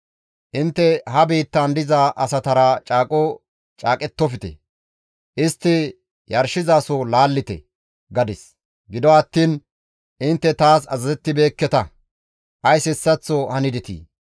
Intte ha biittan diza asatara caaqo caaqettofte; istti yarshizasota laallite› gadis; gido attiin intte taas azazettibeekketa; ays hessaththo hanidetii?